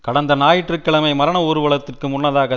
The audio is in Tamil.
கடந்த ஞாயிற்று கிழமை மரண ஊர்வலத்துக்கு முன்னதாக